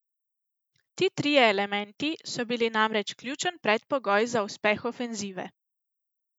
Ti trije elementi so bili namreč ključen predpogoj za uspeh ofenzive.